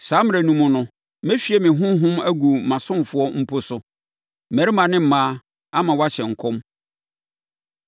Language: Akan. Saa mmerɛ no mu no, mɛhwie me Honhom agu mʼasomfoɔ mpo so, mmarima ne mmaa, ama wɔahyɛ nkɔm.